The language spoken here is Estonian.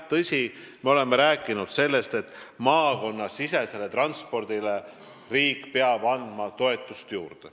Tõsi, me oleme rääkinud sellest, et maakonnasisesele transpordile peab riik andma toetust juurde.